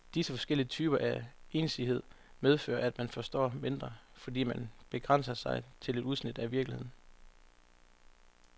Disse forskellige typer af ensidighed medfører, at man forstår mindre, fordi man begrænser sig til udsnit af virkeligheden.